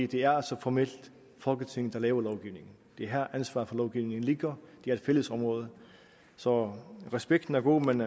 det er altså formelt folketinget der laver lovgivningen det er her ansvaret for lovgivningen ligger det er et fælles område så respekten er god men